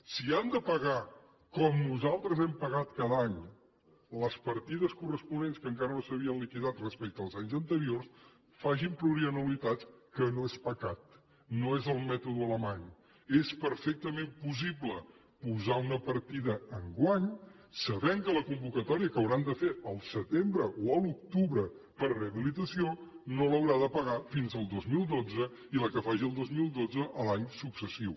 si han de pagar com nosaltres hem pagat cada any les partides corresponents que encara no s’havien liquidat respecte als anys anteriors facin plurianualitats que no és pecat no és el mètode alemany és perfectament possible posar una partida enguany sabent que la convocatòria que hauran de fer al setembre o a l’octubre per a rehabilitació no l’haurà de pagar fins al dos mil dotze i la que faci el dos mil dotze l’any successiu